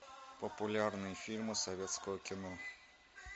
популярные фильмы советского кино